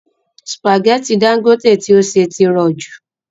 Sùpàgẹ́tì Dangote tí ó sè tí rọ jù